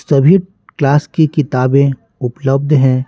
सभी क्लास की किताबें उपलब्ध हैं।